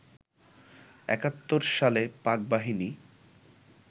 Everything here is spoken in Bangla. একাত্তর সালে পাক বাহিনী